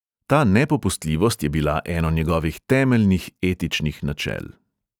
Ta nepopustljivost je bila eno njegovih temeljnih etičnih načel.